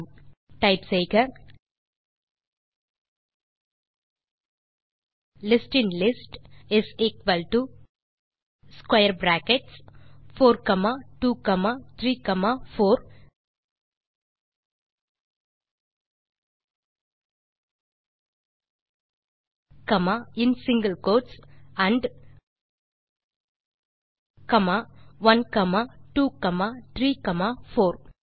ஆகவே கமாண்ட் இல் டைப் செய்க லிஸ்டின்லிஸ்ட் is equal to square brackets 4234and 1 2 3 4